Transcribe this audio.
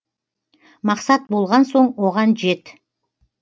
мақсат болған соң оған жет